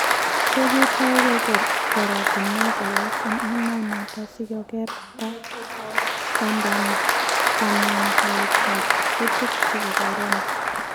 Kogetai keger goratinwek alak eng emenoto si koteer kanamdaet ab kutik chebo Corona